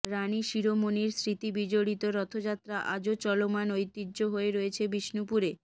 রানি শিরোমণির স্মৃতিবিজড়িত রথযাত্রা আজও চলমান ঐতিহ্য হয়ে রয়েছে বিষ্ণুপুরে